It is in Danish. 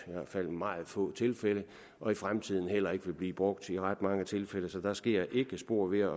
i meget få tilfælde og i fremtiden heller ikke vil blive brugt i ret mange tilfælde så der sker ikke spor ved